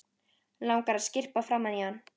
Langar að skyrpa framan í hann.